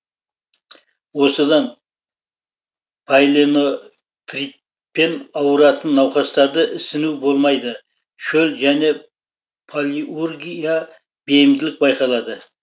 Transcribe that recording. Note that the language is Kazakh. осыдан пайлено фритпен ауыратын науқастарды ісіну болмайды шөл және палиургия бейімділік байқалады